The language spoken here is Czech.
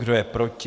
Kdo je proti?